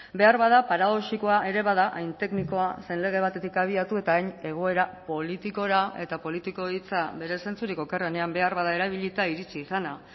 beharbada paradoxikoa ere bada hain teknikoa zen lege batetik abiatu eta hain egoera politikora eta politiko hitza bere zentzurik okerrenean beharbada erabilita iritsi izana